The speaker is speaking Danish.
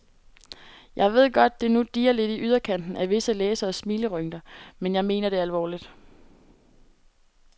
Jeg ved godt, det nu dirrer lidt i yderkanten af visse læseres smilerynker, men jeg mener det alvorligt.